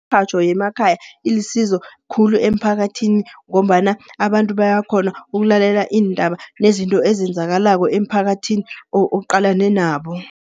Imirhatjho yemakhaya ilisizo khulu emiphakathini ngombana abantu bayakghona ukulalela iindaba nezinto ezenzakalako emiphakathini oqalane nabo.